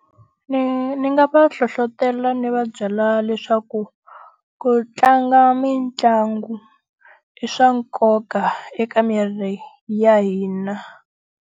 Ni ni nga va hlohletela ni va byela leswaku, ku tlanga mitlangu i swa nkoka eka miri ya hina.